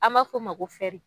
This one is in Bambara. An ma fo ma ko fɛri